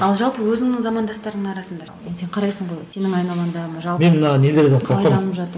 ал жалпы өзіңнің замандастарыңның арасында енді сен қарайсың ғой сенің айналаңда жалпы